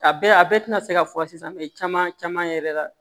A bɛɛ a bɛɛ tɛna se ka fɔ sisan caman caman yɛrɛ la